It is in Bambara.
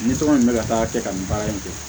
Ni tɔgɔ in bɛ ka taa kɛ ka nin baara in kɛ